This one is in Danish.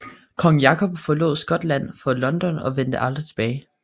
Kong Jakob forlod Skotland for London og vendte aldrig tilbage